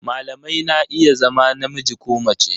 Malamai na iya zama namiji ko mace